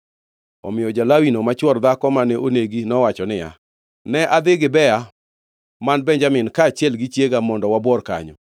Omiyo ja-Lawino, ma chwor dhako mane onegi, nowacho niya, “Ne adhi Gibea man Benjamin kaachiel gi chiega mondo wabuor kanyo.